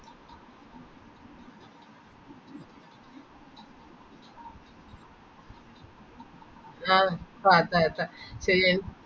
ആഹ് ഫാ എത്ത എത്ത ശരി എൻ